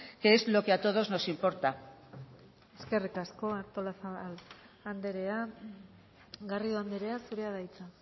que es lo que a todos nos importa eskerrik asko artolazabal andrea garrido andrea zurea da hitza